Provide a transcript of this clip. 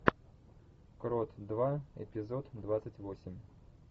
крот два эпизод двадцать восемь